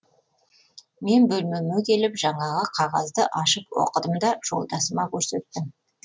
мен бөлмеме келіп жаңағы қағазды ашып оқыдым да жолдасыма көрсеттім